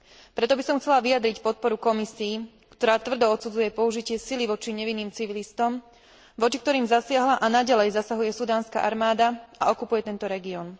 Preto by som chcela vyjadriť podporu Komisii, ktorá tvrdo odsudzuje použitie sily voči nevinným civilistom, voči ktorým zasiahla a naďalej zasahuje sudánska armáda a okupuje tento región.